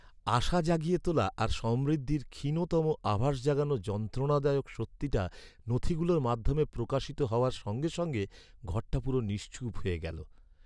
আশা জাগিয়ে তোলা আর সমৃদ্ধির ক্ষীণতম আভাস জাগানো যন্ত্রণাদায়ক সত্যিটা নথিগুলোর মাধ্যমে প্রকাশিত হওয়ার সঙ্গে সঙ্গে ঘরটা পুরো নিশ্চুপ হয়ে গেল।